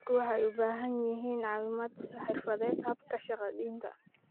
Dadku waxay u baahan yihiin caawimo xirfadeed habka shahaadaynta.